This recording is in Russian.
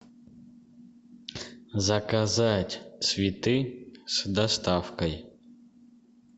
заказать цветы с доставкой